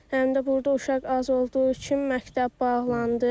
Həm də burda uşaq az olduğu üçün məktəb bağlandı.